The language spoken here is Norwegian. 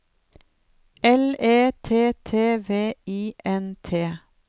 L E T T V I N T